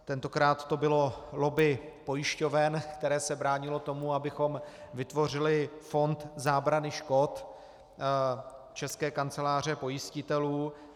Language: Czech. Tentokrát to bylo lobby pojišťoven, které se bránilo tomu, abychom vytvořili fond zábrany škod České kanceláře pojistitelů.